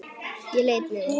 Ég leit niður.